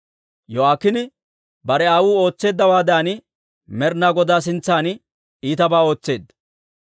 Yo'aakiine bare aawuu ootseeddawaadan, Med'ina Godaa sintsan iitabaa ootseedda.